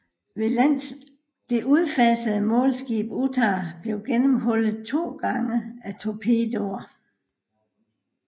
Det udfasede målskib Utah blev gennemhullet to gange af torpedoer